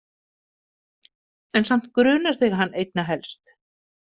En samt grunar þig hann einna helst?